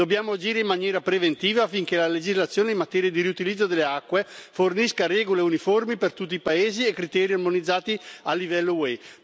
Dobbiamo agire in maniera preventiva, affinché la legislazione in materia di riutilizzo delle acque fornisca regole uniformi per tutti i paesi e criteri armonizzati a livello UE.